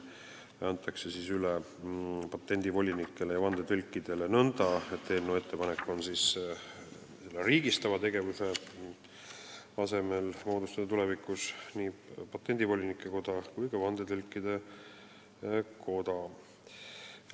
Eelnõus tehakse ettepanek anda need ülesanded patendivolinikele ja vandetõlkidele üle nõnda, et tulevikus moodustataks riigistava tegevuse asemel nii patendivolinike koda kui ka vandetõlkide koda.